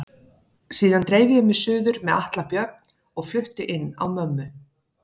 Síðan dreif ég mig suður með Atla Björn og flutti inn á mömmu.